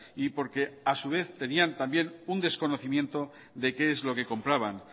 y porque a su vez tenía también un desconocimiento de qué es lo que compraban